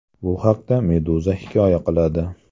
Bu haqda Meduza hikoya qiladi .